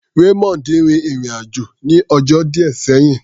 Raymond rin ìrìn-àjò ní ọjọ́ díẹ̀ sẹ́yìn.